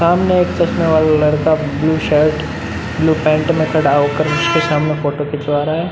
सामने एक चश्मेवाला लड़का ब्लू शर्ट ब्लू पैन्ट में खड़ा हो कर सामने फोटो खिचवा रहा है।